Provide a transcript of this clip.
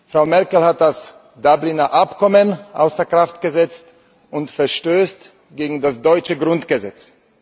Frau Merkel hat das Dublin Abkommen außer Kraft gesetzt und verstößt gegen das deutsche Grundgesetz.